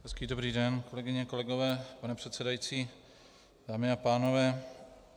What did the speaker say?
Hezký dobrý den, kolegyně a kolegové, pane předsedající, dámy a pánové.